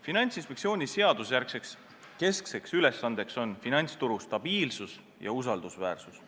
Finantsinspektsiooni seadusejärgne keskne ülesanne on finantsturu stabiilsus ja usaldusväärsus.